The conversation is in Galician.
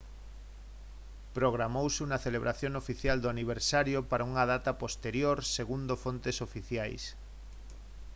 programouse unha celebración oficial do aniversario para unha data posterior segundo fontes oficiais